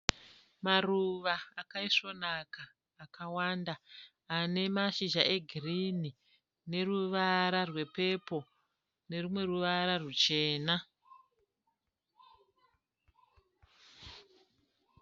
Maruva akaisvonaka akawanda. Ane mashizha egirinhi, neruvara rwepepoo nerumwe ruvara ruchena.